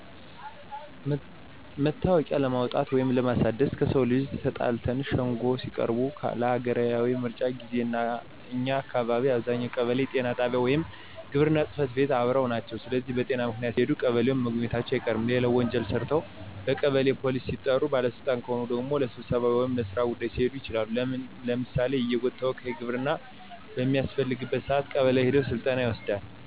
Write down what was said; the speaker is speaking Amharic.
መታወቂያ ለማውጣት ወይንም ለማሳደስ፣ ከሰው ጋር ተጣልተው ሸንጎ ሲቀርቡ፣ ለሀገራዊ ምርጫ ጊዜ፣ እና እኛ አካባቢ አብዛኛው ቀበሌውና ጤና ጣቢያው ወይም ግብርና ጽፈት ቤት አብረው ናቸው ስለዚህ በጤና ምክንያት ሲሄዱም ቀበሌውን መጎብኘታቸው አይቀርም። ሌላው ወንጀል ሰርተው በቀበሌ ፖሊስ ሲጠሩ፣ ባለ ስልጣን ከሆኑ ደግሞ ለስብሰባ ወይም ለስራ ጉዳይ ሊሄዱ ይችላሉ። ለምሳሌ የየጎጥ ተወካዮች ግብር በሚያስከፍሉበት ሰአት ቀበሌ ሄደው ስልጠና ይወስዳሉ።